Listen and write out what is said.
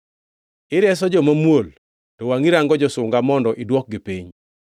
Ireso joma muol, to wangʼi rango josunga mondo idwokgi piny.